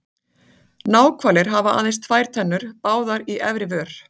Náhvalir hafa aðeins tvær tennur, báðar í efri vör.